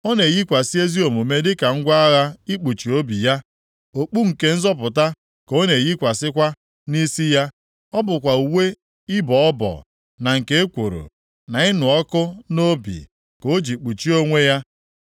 Ọ na-eyikwasị ezi omume dịka ngwa agha ikpuchi obi ya. Okpu nke nzọpụta ka ọ na-eyikwasịkwa nʼisi ya. Ọ bụkwa uwe ịbọ ọbọ na nke ekworo na ịnụ ọkụ na obi ka o ji kpuchie onwe ya.